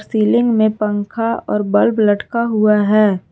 Ceiling में पंखा और बल्ब लटका हुआ है।